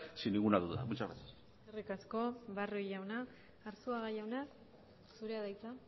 sin ninguna duda muchas gracias eskerrik asko barrio jauna arzuaga jauna zurea da hitza